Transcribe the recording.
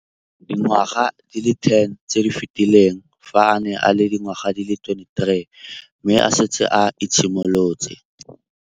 Dingwaga di le 10 tse di fetileng, fa a ne a le dingwaga di le 23 mme a setse a itshimoletse